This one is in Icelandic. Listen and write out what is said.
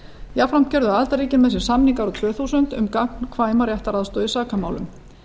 jafnframt gerðu aðildarríkin með sér samning árið tvö þúsund um gagnkvæma réttaraðstoð í sakamálum